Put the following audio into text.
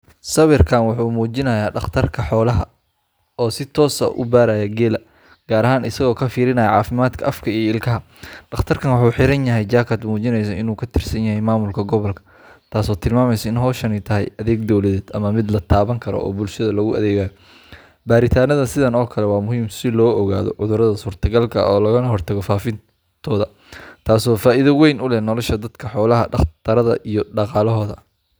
Sawirkan waxu muujinayaa dhaqtarka xoolaha oo si toos ah u baaraya geela, gaar ahaan isagoo ka fiirinaya caafimaadka afka iyo ilkaha. Dhaqtarkan waxa uu xiran yahay jaakad muujinaysa inuu ka tirsan yahay maamulka gobolka, taasoo tilmaamaysa in howshani tahay adeeg dowladeed ama mid la taaban karo oo bulshada loogu adeegayo. Baaritaannada sidan oo kale ah waa muhiim si loo ogaado cudurrada suurtagalka ah loogana hortago faafitaankooda, taasoo faa’iido weyn u leh nolosha dadka xoolo dhaqatada ah iyo dhaqaalahooda.